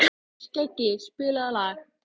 Skeggi, spilaðu lag.